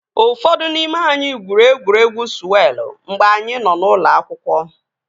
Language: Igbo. Ụfọdụ n'ime anyị gwuru egwuregwu sụwelụ mgbe anyị nọ na ụlọ akwụkwọ